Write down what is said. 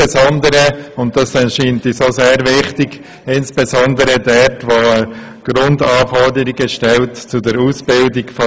Er stellt insbesondere Grundanforderungen an die Ausbildung der Geistlichen.